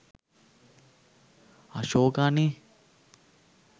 අශෝක අනේ